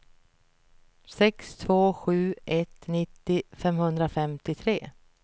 sex två sju ett nittio femhundrafemtiotre